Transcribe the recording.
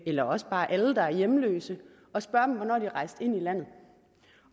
eller også bare alle der er hjemløse og spørge dem om hvornår de er rejst ind i landet